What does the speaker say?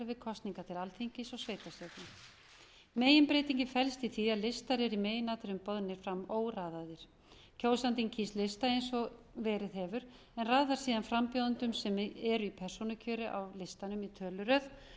kosningar til alþingis og sveitarstjórna meginbreytingin felst í því að listar eru í meginatriðum boðnir fram óraðaðir kjósandinn kýs lista eins og verið hefur en raðar síðan frambjóðendum sem eru í persónukjöri á listanum í töluröð